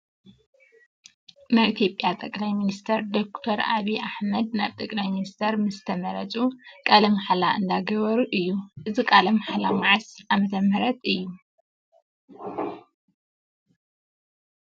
ናይ ኢትዮጵያ ጠቅላይ ሚንስትር ዶክተር ኣብይ ኣሕመድ ናብ ጠቅላይ ሚንስትር ምስ ተመረፁ ቃለ ማሕላ እንዳገበሩ እዩ። እዚ ቃለ ማሕላ ማዓስ ኣመተምህረት እዩ?